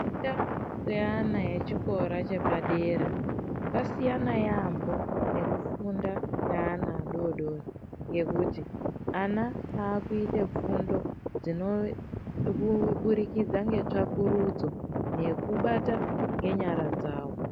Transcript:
Kufunda kwevana echikora chepadera, kwasiyana yaampho, nekufunda kweana adodori, ngekuti ana aakuite fundo dzinoburikidza ngetsvakurudzo, nekubata nenyara dzavo.